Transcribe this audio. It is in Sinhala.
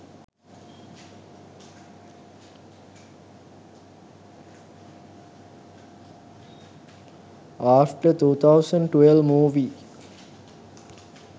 after 2012 movie